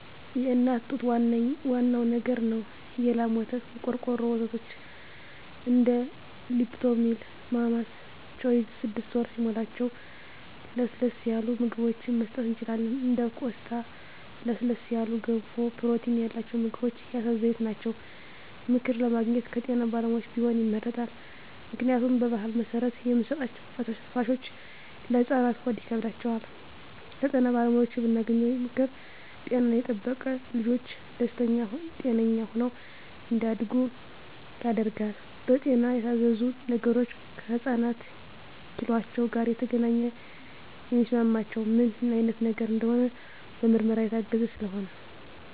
የእናት ጡት ዋናው ነገር ነው የላም ወተት , የቆርቆሮ ወተቶች እንደ ሊፕቶሚል ማማስ ቾይዥ ስድስት ወር ሲሞላቸው ለስለስ ያሉ ምግብችን መስጠት እንችላለን እንደ ቆስጣ ለስለስ ያሉ ገንፎ ፕሮቲን ያላቸው ምግቦች የአሳ ዘይት ናቸው። ምክር ለማግኘት ከጤና ባለሙያዎች ቢሆን ይመረጣል ምክንያቱም በባህል መሰረት የምንሰጣቸዉ ፈሳሾች ለህፃናት ሆድ ይከብዳቸዋል። ከጤና ባለሙያዎች የምናገኘው ምክር ጤናን የጠበቀ ልጅች ደስተኛ ጤነኛ ሆነው እንዳድጉ ያደርጋል። በጤና የታዘዙ ነገሮች ከህፃናት ኪሏቸው ጋር የተገናኘ የሚስማማቸው ምን አይነት ነገር እንደሆነ በምርመራ የታገዘ ስለሆነ